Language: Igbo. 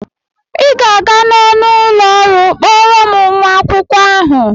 Ị ga-aga n'ọnụ ụlọ ọrụ kpọọrọ m nwa akwụkwọ ahụ!